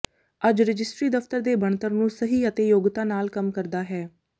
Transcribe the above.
ਅੱਜ ਰਜਿਸਟਰੀ ਦਫ਼ਤਰ ਦੇ ਬਣਤਰ ਨੂੰ ਸਹੀ ਅਤੇ ਯੋਗਤਾ ਨਾਲ ਕੰਮ ਕਰਦਾ ਹੈ